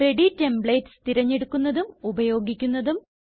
ready templates തിരഞ്ഞെടുക്കുന്നതും ഉപയോഗിക്കുന്നതും